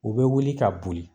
U bɛ wuli ka boli